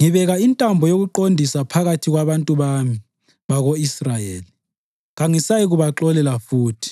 ngibeka intambo yokuqondisa phakathi kwabantu bami bako-Israyeli; kangisayikubaxolela futhi.